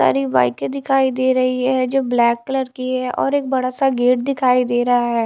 सारी बाइके दिखाई दे रही है जो ब्लैक कलर है और एक बड़ा सा गेट दिखाई दे रहा है।